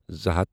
زٕ ہَتھ